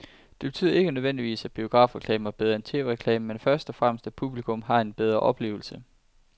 Det betyder ikke nødvendigvis, at biografreklamen er bedre end tv-reklamen, men først og fremmest at publikum har haft en bedre oplevelse.